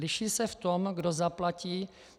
Liší se v tom, kdo zaplatí.